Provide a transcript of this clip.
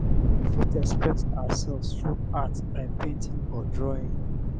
we fit express ourselves through art by painting or drawing